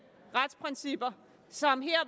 retsprincipper som her